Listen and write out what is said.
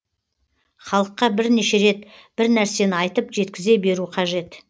халыққа бірнеше рет бір нәрсені айтып жеткізе беру қажет